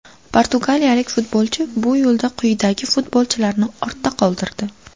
Portugaliyalik futbolchi bu yo‘lda quyidagi futbolchilarni ortda qoldirdi :!